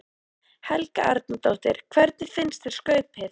Helga Arnardóttir: Hvernig fannst þér skaupið?